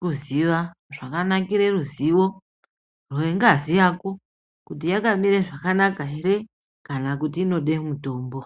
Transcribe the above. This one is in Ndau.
kuziva, zvakanakire ruzivo rwengazi yako, kuti yakamire zvakanaka ere kana kuti inode mutombo.